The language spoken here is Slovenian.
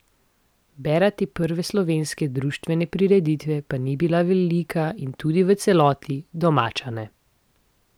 Bera te prve slovenske društvene prireditve pa ni bila velika in tudi v celoti domača ne.